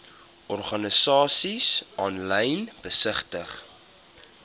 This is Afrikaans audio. organisasies aanlyn besigtig